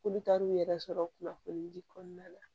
K'olu taar'u yɛrɛ sɔrɔ kunnafoni di kɔnɔna la